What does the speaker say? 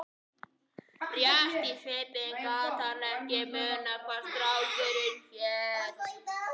Rétt í svipinn gat hann ekki munað hvað strákurinn hét.